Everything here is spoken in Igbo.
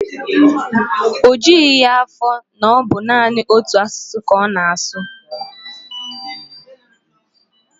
O jughị ya afọ na ọ bụ naanị otu asụsụ ka ọ na-asụ.